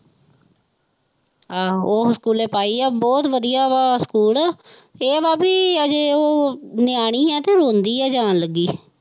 ਆਹੋ ਉਹ ਸਕੂਲੇ ਪਾਈ ਆ ਬਹੁਤ ਵਧੀਆ ਵਾ ਸਕੂਲ ਇਹ ਵਾ ਵੀ ਅਜੇ ਉਹ ਨਿਆਣੀ ਹੈ ਤੇ ਰੋਂਦੀ ਹੈ ਜਾਣ ਲੱਗੀ।